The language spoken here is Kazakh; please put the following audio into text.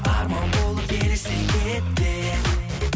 арман болып елестен кетпе